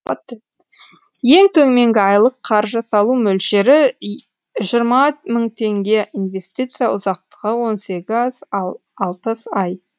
ең төменгі айлық қаржы салу мөлшері жиырма мың теңге инвестиция ұзақтығы он сегіз алпыс ай